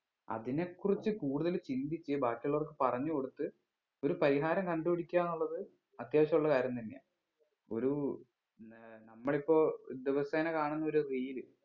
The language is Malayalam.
അതിനെ കുറിച്ച് കൂടുതൽ ചിന്തിക്ക് ബാക്കി ഉള്ളവർക്ക് പറഞ്ഞ് കൊടുത്ത് ഒരു പരിഹാരം കണ്ട് പിടിക്ക എന്നുള്ളത് അത്യാവശ്യം ഉള്ള കാര്യം തന്നെയാ ഒരു ഏർ നമ്മളിപ്പോ ദിവസേന കാണുന്ന ഒരു reel